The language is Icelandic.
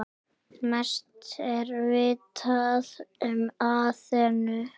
Mest er vitað um Aþenu.